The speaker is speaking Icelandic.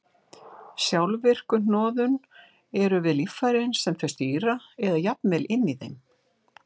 Sjálfvirku hnoðun eru við líffærin sem þau stýra eða jafnvel inni í þeim.